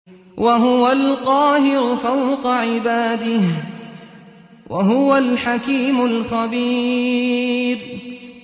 وَهُوَ الْقَاهِرُ فَوْقَ عِبَادِهِ ۚ وَهُوَ الْحَكِيمُ الْخَبِيرُ